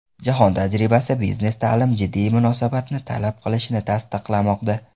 Jahon tajribasi biznes-ta’lim jiddiy munosabatni talab qilishini tasdiqlamoqda.